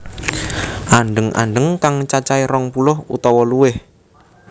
Andheng andheng kang cacahé rong puluh utawa luwih